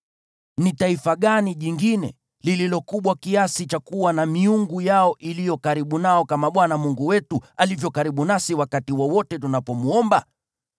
Ni taifa gani jingine lililo kubwa kiasi cha kuwa na miungu yao iliyo karibu nao kama Bwana Mungu wetu alivyo karibu nasi wakati wowote tunapomwomba?